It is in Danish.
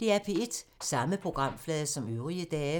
Samme programflade som øvrige dage